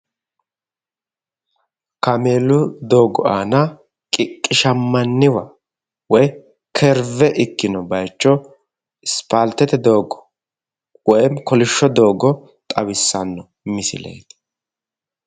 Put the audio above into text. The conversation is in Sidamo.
Kameelu doogo aana qiqqishammaniwa woyi kurve ikkino bayiicho ispaaltete doogo woyimi kolishsho doogo xawissanno misileeti